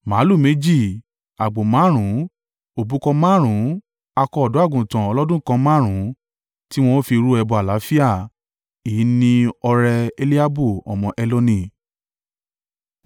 Màlúù méjì, àgbò márùn-ún, òbúkọ márùn-ún akọ ọ̀dọ́-àgùntàn ọlọ́dún kan márùn-ún tí wọn o fi rú ẹbọ àlàáfíà. Èyí ni ọrẹ Eliabu ọmọ Heloni.